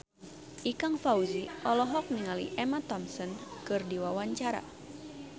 Ikang Fawzi olohok ningali Emma Thompson keur diwawancara